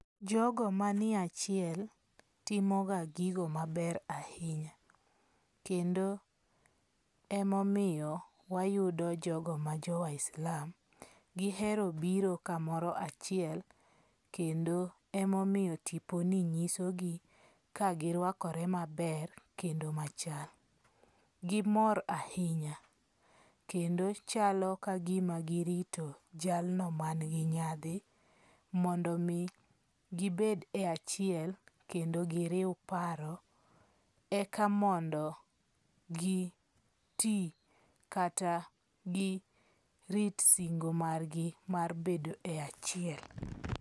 Jogo manie achiel timo ga gigo maber ahinya. Kendo emomiyo wayudo jogo ma jo Waislam, gihero biro kamoro achiel kendo emomiyo tiponi nyisogi ka girwakore maber kendo machal. Gimor ahinya kendo chalo ka gima girito jalno ma nigi nyadhi mondo mi gibed e achiel. Kendo giriw paro eka mondo giti kata gi rit singo margi mar bedo e achiel.